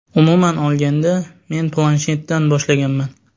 Umuman olganda, men planshetdan boshlaganman.